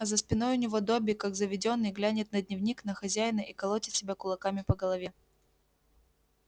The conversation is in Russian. а за спиной у него добби как заведённый глянет на дневник на хозяина и колотит себя кулаками по голове